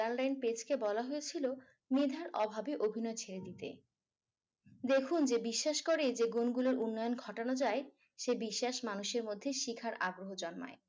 কে বলা হয়েছিল মেধার অভাবে অভিনয় ছেড়ে দিতে। দেখুন যে বিশ্বাস করি গুলির উন্নয়ন গঠানো যায় সে বিশ্বাস মানুষের মধ্যে শেখার আগ্রহ জন্মায়।